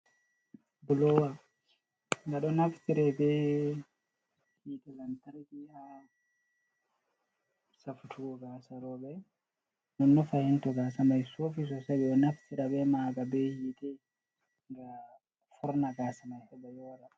Blowa nga ɗo nafitira be hite lantrki ha safutugo gasa roɓe, nono fahin to gasa mai sofi sosai ɓe, o nafitira be maga be hiite nga forna gasa mai heba yora.